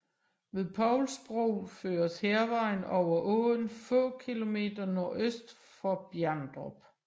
Ved Povls Bro føres Hærvejen over åen få km nordøst for Bjerndrup